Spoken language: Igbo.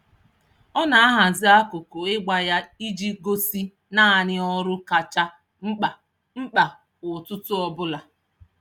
Ọ na-ahazi akụkụ ịgba ya iji gosi naanị ọrụ kacha mkpa mkpa kwa ụtụtụ ọbụla.